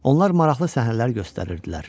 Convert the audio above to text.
Onlar maraqlı səhnələr göstərirdilər.